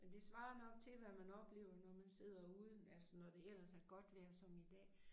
Men det svarer nok til hvad man oplever når man sidder ude altså når det ellers er godt vejr som i dag